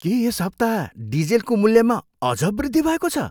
के यस हप्ता डिजेलको मूल्यमा अझ वृद्धि भएको छ?